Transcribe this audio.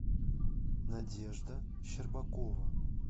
надежда щербакова